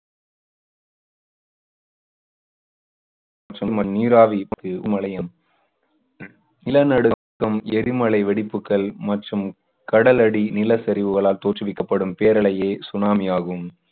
சும்~ நீராவிக்கு எரிமலையும் நிலநடுக்கம், எரிமலை வெடிப்புக்கள் மற்றும் கடலடி நிலசரிவுகளால் தோற்றுவிக்கப்படும் பேரலையே சுனாமி ஆகும்.